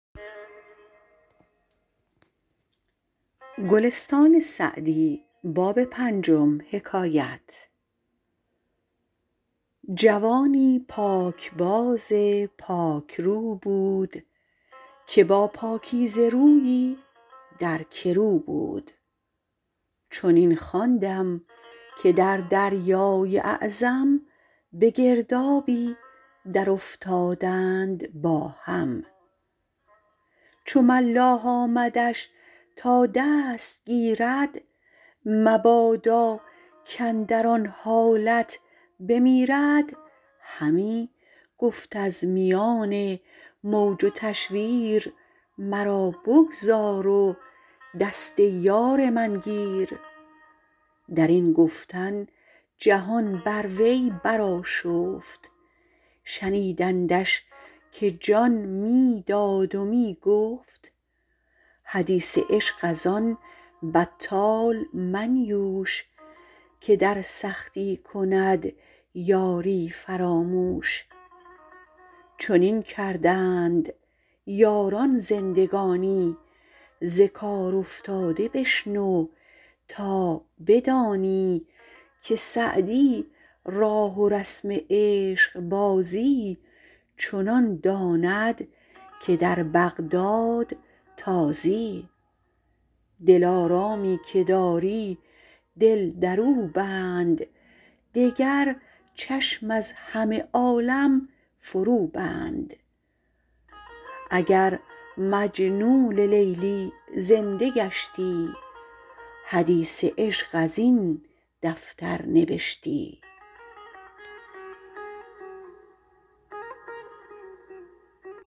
جوانی پاکباز و پاکرو بود که با پاکیزه رویی در گرو بود چنین خواندم که در دریای اعظم به گردابی درافتادند با هم چو ملاح آمدش تا دست گیرد مبادا کاندر آن حالت بمیرد همی گفت از میان موج و تشویر مرا بگذار و دست یار من گیر در این گفتن جهان بر وی برآشفت شنیدندش که جان می داد و می گفت حدیث عشق از آن بطال منیوش که در سختی کند یاری فراموش چنین کردند یاران زندگانی ز کار افتاده بشنو تا بدانی که سعدی راه و رسم عشقبازی چنان داند که در بغداد تازی دلارامی که داری دل در او بند دگر چشم از همه عالم فرو بند اگر مجنون لیلی زنده گشتی حدیث عشق از این دفتر نبشتی